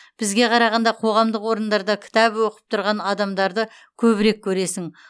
бізге қарағанда қоғамдық орындарда кітап оқып тұрған адамдарды көбірек көресің